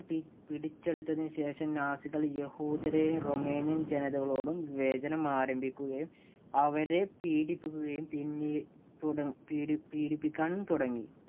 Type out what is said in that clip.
പി~പിടിച്ചെടുത്തതിനുശേഷം നാസികൾ യഹൂദരെയും, റൊമേനിയന്‍ ജനതകളോടും വിവേചനം ആരംഭിക്കുകയും, അവരെ പീഡിപ്പിക്കുകയും പിന്നീ തുടർ പീഡി~പീഡിപ്പിക്കാനും തുടങ്ങി.